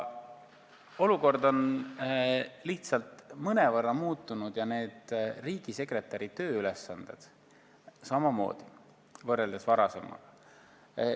Olukord on lihtsalt mõnevõrra muutunud ja riigisekretäri tööülesanded varasematega võrreldes samamoodi.